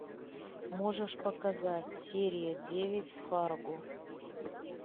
можешь показать серия девять фарго